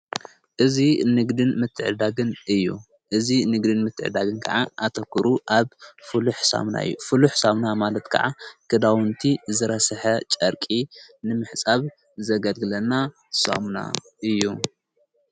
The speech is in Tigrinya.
እዙ ንግድን ምትዕዳግን እዩ እዝ ንግድን ምትዕዳግን ከዓ ኣተዂሩ ኣብ ፍሉኅ ሳምና ዩ ፍሉኅ ሳምና ማለት ከዓ ግዳውንቲ ዝረስሐ ጨርቂ ንምሕጻብ ዘገልግለና ሳምና እዩ።